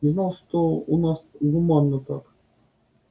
не знал что у нас гуманно так